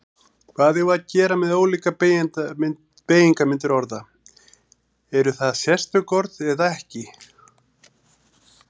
Hvað eigum við að gera með ólíkar beygingarmyndir orða, eru það sérstök orð eða ekki?